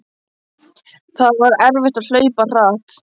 Það var erfitt að hlaupa hratt.